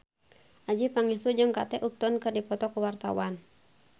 Adjie Pangestu jeung Kate Upton keur dipoto ku wartawan